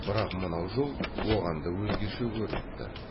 бірақ мынау жол оған да өзгеше көрініпті